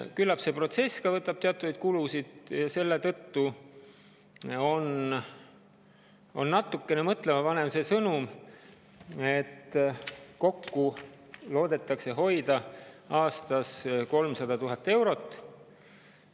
Küllap nõuab ka see protsess teatavaid kulutusi ja selle tõttu on natukene mõtlemapanev see sõnum, et kokku loodetakse hoida aastas 300 000 eurot.